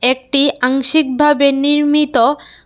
এটি আংশিক ভাবে নির্মিত।